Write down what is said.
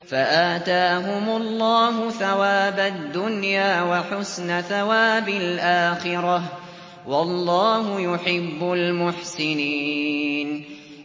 فَآتَاهُمُ اللَّهُ ثَوَابَ الدُّنْيَا وَحُسْنَ ثَوَابِ الْآخِرَةِ ۗ وَاللَّهُ يُحِبُّ الْمُحْسِنِينَ